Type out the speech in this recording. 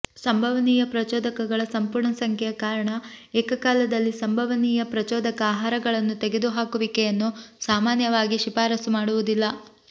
ಸಂಭವನೀಯ ಪ್ರಚೋದಕಗಳ ಸಂಪೂರ್ಣ ಸಂಖ್ಯೆಯ ಕಾರಣ ಏಕಕಾಲದಲ್ಲಿ ಸಂಭವನೀಯ ಪ್ರಚೋದಕ ಆಹಾರಗಳನ್ನು ತೆಗೆದುಹಾಕುವಿಕೆಯನ್ನು ಸಾಮಾನ್ಯವಾಗಿ ಶಿಫಾರಸು ಮಾಡುವುದಿಲ್ಲ